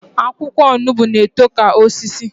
Akwụkwọ onugbo na-eto ka osisi